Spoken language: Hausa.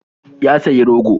Ya sayi rogo.